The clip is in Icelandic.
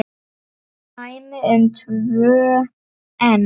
Dæmi um tvö enn